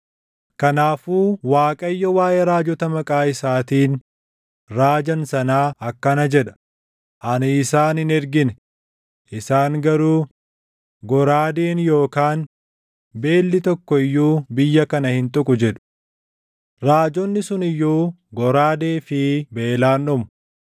Kanaafuu Waaqayyo waaʼee raajota maqaa isaatiin raajan sanaa akkana jedha: ani isaan hin ergine; isaan garuu, ‘Goraadeen yookaan beelli tokko iyyuu biyya kana hin tuqu’ jedhu. Raajonni sun iyyuu goraadee fi beelaan dhumu.